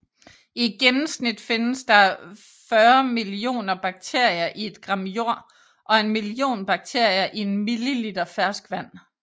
I gennemsnit findes der 40 millioner bakterier i et gram jord og en million bakterier i en milliliter ferskvand